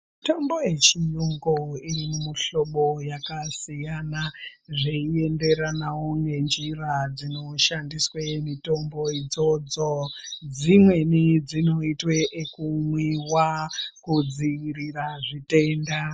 Mutombo yechiyungu ine muhlobo yakasiyana zveienderanawo nenjira dzinoshandiswe mitombo idzodzo. Dzimweni dzinoitwe ekumwiwa kudziirira zvitenda.